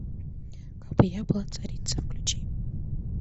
кабы я была царица включи